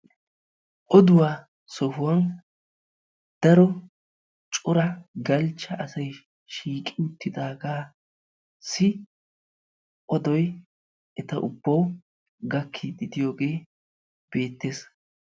Oduwa sohuwan daro cora galchcha asay shiiqi uttidagassi odoy eta ubbaw gakkiiddi de'iyooge beettees.